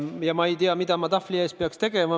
Ja ma ei tea, mida ma tahvli ees peaks tegema.